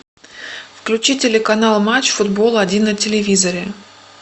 включи телеканал матч футбол один на телевизоре